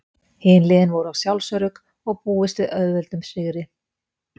Hin liðin voru of sjálfsörugg og búist við auðveldum sigri.